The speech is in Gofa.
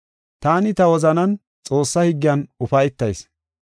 Taani ta wozanan Xoossaa higgiyan ufaytayis.